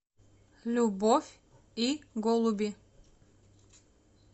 любовь и голуби